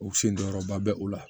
O sen jɔyɔrɔba bɛ o la